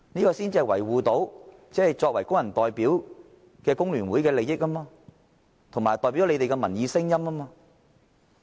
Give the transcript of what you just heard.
因為工聯會作為工人代表，這樣才能維護工人，才能代表他們的民意聲音。